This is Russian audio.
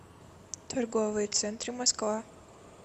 торговые центры москва